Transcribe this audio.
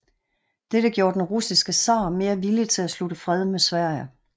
Dette gjorde den russiske zar mere villig til at slutte fred med Sverige